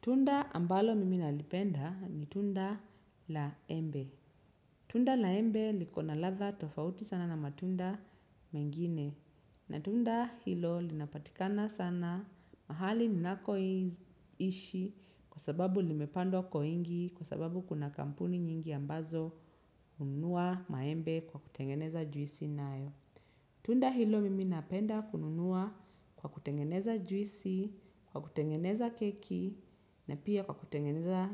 Tunda ambalo mimi nalipenda ni tunda laembe. Tunda la embe liko na ladha tofauti sana na matunda mengine. Na tunda hilo linapatikana sana mahali ninakoishi kwa sababu limepandwa kwa wingi kwa sababu kuna kampuni nyingi ambazo hununua maembe kwa kutengeneza juisi nayo. Tunda hilo mimi napenda kununua kwa kutengeneza juisi, kwa kutengeneza keki na pia kutengeneza